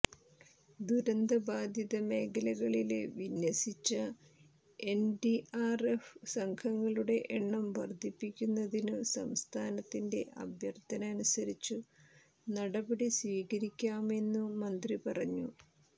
ദുരന്ത ബാധിത മേഖലകളില് വിന്യസിച്ച എന്ഡിആര്എഫ് സംഘങ്ങളുടെ എണ്ണം വര്ധിപ്പിക്കുന്നതിനു സംസ്ഥാനത്തിന്റെ അഭ്യര്ഥന അനുസരിച്ചു നടപടി സ്വീകരിക്കാമെന്നു മന്ത്രി പറഞ്ഞു